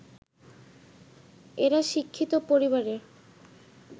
এরা শিক্ষিত পরিবারের